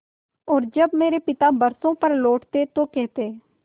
और जब मेरे पिता बरसों पर लौटते तो कहते